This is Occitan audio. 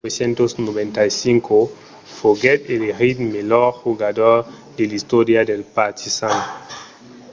en 1995 foguèt elegit melhor jogador de l'istòria del partizan